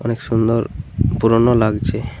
অনেক সুন্দর পুরোনো লাগছে ।